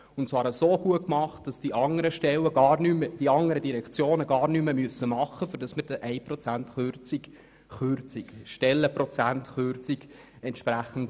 Sie haben sie so gut gemacht, dass die anderen Direktionen gar nichts mehr tun müssen, um einen Abbau von 1 Stellenprozent zu ermöglichen.